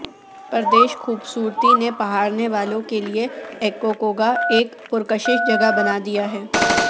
پردیش خوبصورتی نے پہاڑنے والوں کے لئے ایککوکوگا ایک پرکشش جگہ بنا دیا ہے